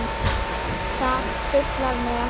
Það truflar mig ekki.